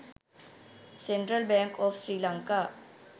central bank of sri lanka